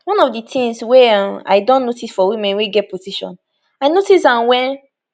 one of di tins wey um i don notice for women wey get position i notice am wen